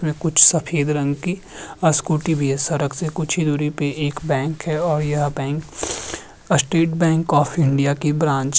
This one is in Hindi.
अ कुछ सफ़ेद रंग की अ स्कूटी भी है सरक से कुछ ही दूरी पे एक बैंक है और यह bank state bank of India की ब्रांच --